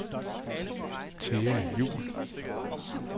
Thea Juhl